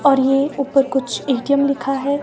और ये ऊपर कुछ ए_टी_एम लिखा है।